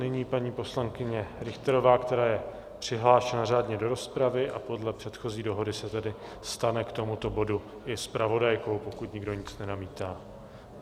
Nyní paní poslankyně Richterová, která je přihlášena řádně do rozpravy, a podle předchozí dohody se tedy stane k tomuto bodu i zpravodajkou, pokud nikdo nic nenamítá.